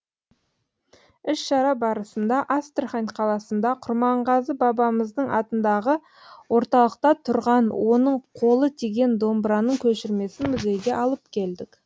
іс шара барысында астрахань қаласында құрманғазы бабамыздың атындағы орталықта тұрған оның қолы тиген домбыраның көшірмесін музейге алып келдік